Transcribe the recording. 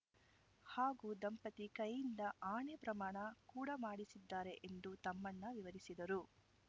ಹಾಗೂ ದಂಪತಿ ಕೈಯಿಂದ ಆಣೆ ಪ್ರಮಾಣ ಕೂಡಾ ಮಾಡಿಸಿದ್ದಾರೆ ಎಂದು ತಮ್ಮಣ್ಣ ವಿವರಿಸಿದರು